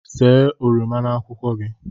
See oroma na akwụkwọ gị